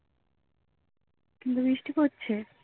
কিন্তু বৃষ্টি পড়ছে